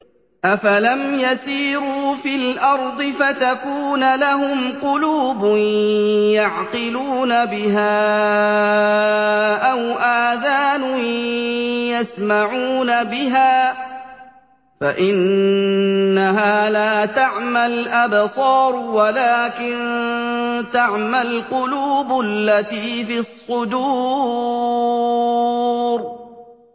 أَفَلَمْ يَسِيرُوا فِي الْأَرْضِ فَتَكُونَ لَهُمْ قُلُوبٌ يَعْقِلُونَ بِهَا أَوْ آذَانٌ يَسْمَعُونَ بِهَا ۖ فَإِنَّهَا لَا تَعْمَى الْأَبْصَارُ وَلَٰكِن تَعْمَى الْقُلُوبُ الَّتِي فِي الصُّدُورِ